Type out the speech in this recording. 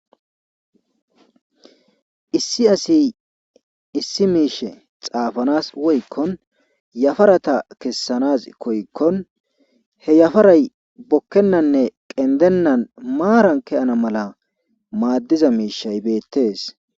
Issi asi issi miishe xaafanaas woykkon yafarata kessanaas koyikkon he yafaray bokkennanne qenddennan maarabn keyana mala maaddiza miishay beetees.